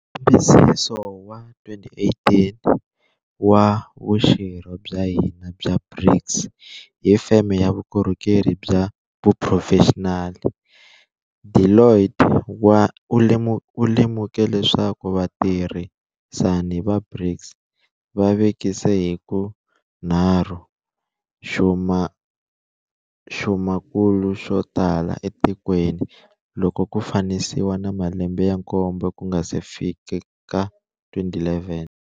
Nkambisiso wa 2018 wa vuxirho bya hina bya BRICS hi feme ya vukorhokeri bya xiphurofexinali, Deloitte wu lemuke leswaku vatirhisani va BRICS va vekise hi ka nharhu xumakulu xo tala etikweni loko ku fananisiwa na malembe ya nkombo ku nga si fika 2011.